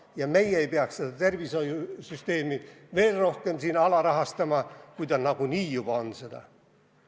Ja meie ei peaks seda tavatervishoiu süsteemi veel rohkem alarahastama, ta nagunii juba on seda.